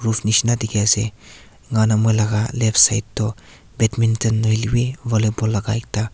roof nishena dikhi ase eneka hoina moila left side tu badminton nahoile b volleyball la ekta--